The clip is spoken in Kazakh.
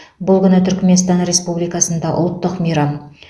бұл күн түрікменстан республикасында ұлттық мейрам